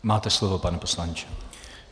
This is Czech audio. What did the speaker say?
Máte slovo, pane poslanče.